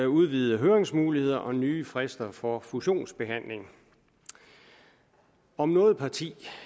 udvidede høringsmuligheder og nye frister for fusionsbehandling om noget parti